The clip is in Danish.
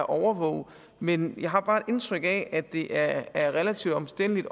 overvåge men jeg har bare indtryk af at det er er relativt omstændeligt